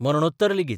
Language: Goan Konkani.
मरणोत्तर लेगीत.